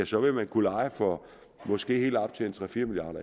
så vil man kunne leje for måske helt op til tre fire milliard